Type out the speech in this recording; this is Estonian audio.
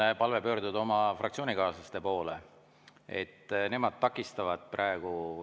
Mul on palve pöörduda oma fraktsioonikaaslaste poole, nemad takistavad praegu.